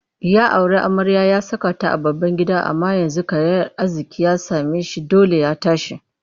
Ya auri amarya ya saka ta a babban gida amma yanzu karayar arziƙi ta same shi dole ya tashi